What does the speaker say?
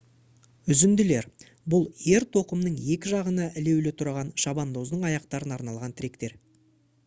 үзінділер бұл ер-тоқымның екі жағына ілулі тұрған шабандоздың аяқтарына арналған тіректер